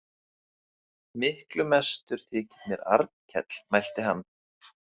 Miklu mestur þykir mér Arnkell, mælti hann.